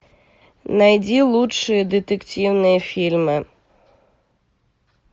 найди лучшие детективные фильмы